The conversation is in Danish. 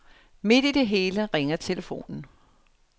Midt i det hele ringer telefonen.